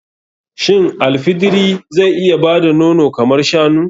Shin al fidiri zai iya bada nono kamar shanu?